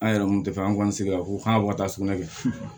An yɛrɛ kun tɛ fɛ an k'an sigi a ko kan ka taa sugunɛ kɛ